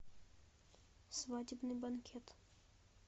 свадебный банкет